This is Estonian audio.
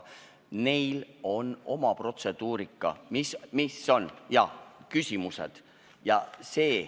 Neil on selleks oma protseduur, jaa, neil on küsimused.